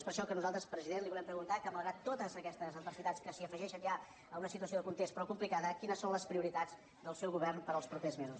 és per això que nosaltres president li volem preguntar que malgrat totes aquestes adversitats que s’afegeixen ja a una situació de context prou complicada quines són les prioritats del seu govern per als propers mesos